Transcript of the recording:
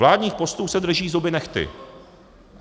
Vládních postů se drží zuby nehty.